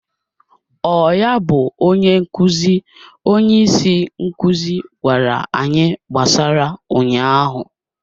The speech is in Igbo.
Ọ ya bụ onye nkụzi, onye isi nkuzi gwara anyị gbasara ụnyaahụ?